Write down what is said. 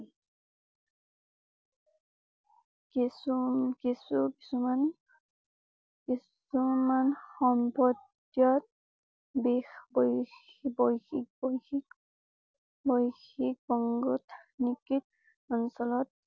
কিছু কিছু কিছুমান কিছুমান সম্পৰ্ত্যত বিষবৈশ্বিক বৈশ্বিক